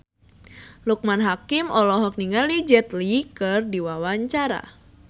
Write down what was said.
Loekman Hakim olohok ningali Jet Li keur diwawancara